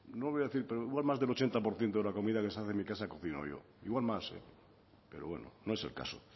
no lo voy a decir pero igual más del ochenta por ciento de la comida que se hace en mi casa he cocinado yo igual más pero bueno no es el caso